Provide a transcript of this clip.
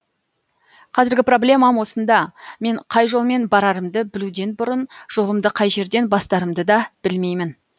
қазіргі проблемам осында мен қай жолмен барарымды білуден бұрын жолымды қай жерден бастарымды да білмеймін